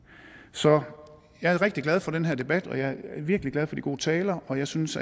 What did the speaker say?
så jeg er rigtig glad for den her debat og jeg er virkelig glad for de gode taler og jeg synes